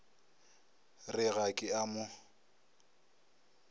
re ga ke a mo